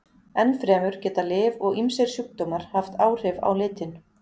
Ennfremur geta lyf og ýmsir sjúkdómar haft áhrif á litinn.